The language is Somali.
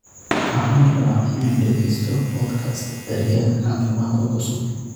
Waxaan rabaa inaan dhageysto podcast daryeel caafimaad oo cusub